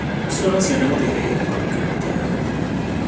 Gũcirora ciana gũteithagia gwaka gĩkeno kĩa hamwe.